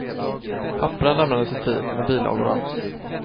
Papperen lämnades i tid, med bilagor och allt.